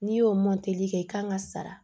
N'i y'o kɛ i kan ka sara